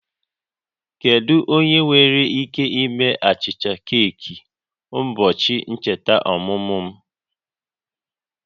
Kedu onye nwere ike ime achịcha keeki ụbọchị ncheta ọmụmụ m?